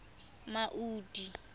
maudi